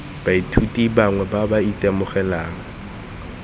baithuti bangwe ba ba itemogelang